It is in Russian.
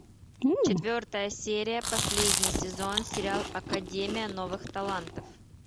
четвертая серия последний сезон сериал академия новых талантов